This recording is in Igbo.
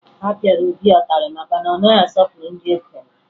A pịara Obi ụtarị maka na ọ naghị asọpụrụ ndị okenye